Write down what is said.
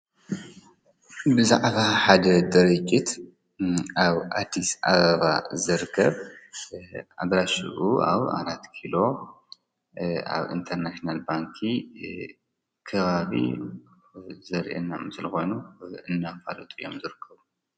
ብዛዕባ ሓደ ድርጅት ኣብ ኣዲስ ኣበባ ዝርከብ ኣድራሹኡ ኣብ ኣራት ኪሎ ኣብ ኢንተርናሽናል ባንኪ ከባቢ ዘርእየና ምስሊ ኮይኑ እናፋለጡ እዮም ዝርከቡ።